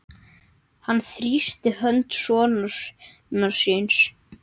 Hann þrýsti hönd sonar síns.